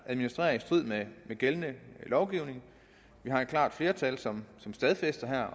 administrerer i strid med gældende lovgivning vi har et klart flertal som